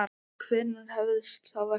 En hvenær hefst þá verkið?